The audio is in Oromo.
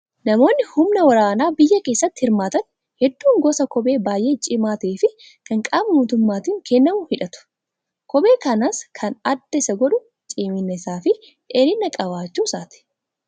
Namoonni humna waraana biyyaa keessatti hirmaatan hedduun gosa kophee baay'ee cimaa ta'ee fi kan qaama mootummaatiin kennamu hidhattu. Kopheen kanas kan adda Isa godhu cimina isaa fi dheerian qabaachuu isaati